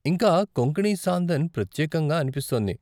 ఇంకా కొంకణీ సాందన్ ప్రత్యేకంగా అనిపిస్తోంది.